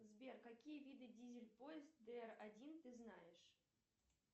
сбер какие виды дизель поезд др один ты знаешь